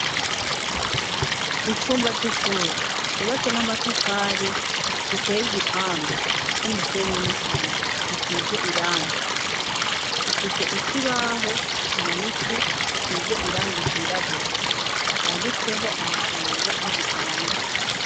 Icumba c'ishure cubatse n'amatafari giteye igipande ry'umusenyi n'isima gisize irangi gifise ikibaho kimanitse gisize irangi ryirabura canditseho amajambo y'igifaransa.